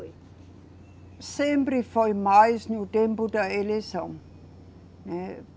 Sempre foi mais no tempo da eleição, né.